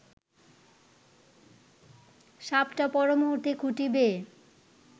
সাপটা পরমুহূর্তে খুঁটি বেয়ে